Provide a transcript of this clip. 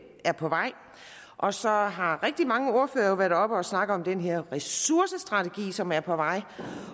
er på vej og så har har rigtig mange ordførere været oppe og snakke om den her ressourcestrategi som er på vej